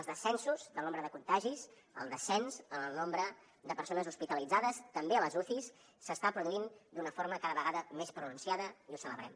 els descensos del nombre de contagis el descens en el nombre de persones hospitalitzades també a les ucis s’està produint d’una forma cada vegada més pronunciada i ho celebrem